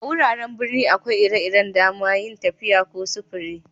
A'wuraren birni akwai ire-iren da'man yin tafiya ko sufure.